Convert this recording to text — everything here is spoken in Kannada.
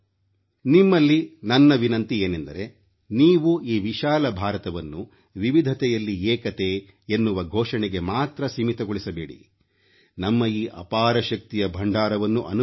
ನಿಮ್ಮಲ್ಲಿ ನನ್ನ ವಿನಂತಿ ಏನೆಂದರೆ ನೀವು ಈ ವಿಶಾಲ ಭಾರತವನ್ನು ವಿವಿಧತೆಯಲ್ಲಿ ಏಕತೆ ಎನ್ನುವ ಘೋಷಣೆಗೆ ಮಾತ್ರ ಸೀಮಿತಗೊಳಿಸಬೇಡಿ ನಮ್ಮ ಈ ಅಪಾರ ಶಕ್ತಿಯ ಭಂಡಾರವನ್ನು ಅನುಭವಿಸಿ